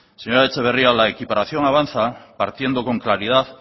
señora etxeberria la equiparación avanza partiendo con claridad